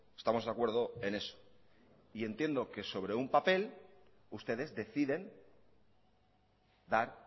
estamos de acuerdo en eso y entiendo que sobre un papel ustedes deciden dar